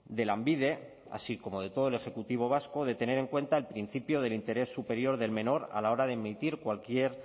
de lanbide así como de todo el ejecutivo vasco de tener en cuenta el principio del interés superior del menor a la hora de emitir cualquier